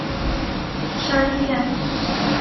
шарье